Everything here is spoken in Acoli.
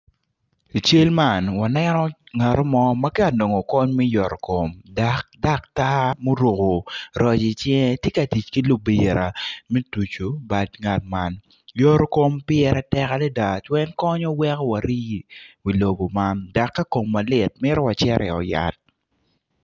I cal man waneno ngatomo ma tye ka nongo kony me yotokom dok daktar muroko roc icinge tye ka tic ki libira me tucu bad ngat man yotokom pire tek adada pien konyo weko wari iwi lobo man dok ka komwa lit mito wacit i ot yat.